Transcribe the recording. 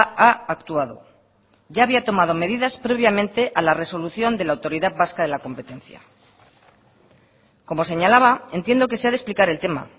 ha actuado ya había tomado medidas previamente a la resolución de la autoridad vasca de la competencia como señalaba entiendo que se ha de explicar el tema